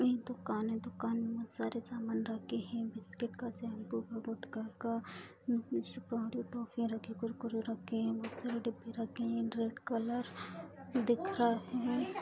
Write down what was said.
दुकान है दुकान में बहुत सारे सामान रखे हैं बिस्किट का शैम्पू का गुटका का सुपारी टॉफ़ीयाँ रखीं कुरकुरे रखे हैं बहोत सारे डिब्बे रखे हैं रेड कलर दिख रहा है।